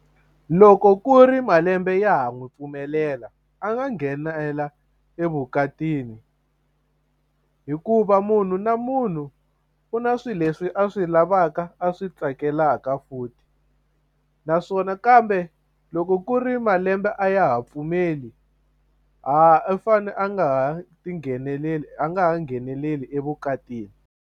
Loko ku ri malembe ya ha n'wi pfumelela a nga nghenela evukatini hikuva munhu na munhu u na swilo leswi a swi lavaka a swi tsakelaka futhi naswona kambe loko ku ri malembe a ya ha pfumeli ha u fane a nga ha ti ngheneleli a nga ha ngheneleli evukatini.